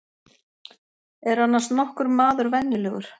Er annars nokkur maður venjulegur?